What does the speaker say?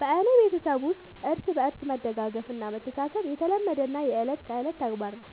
በኔ ቤተሠብ ውስጥ እርስ በርስ መደጋገፍ እና መተሣሠብ የተለመደና የእለት ከእለት ተግባር ነው።